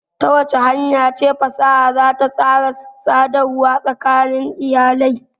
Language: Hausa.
Ta wace hanya ce fasaha za ta tsara sadarwa tsakanin iyalai?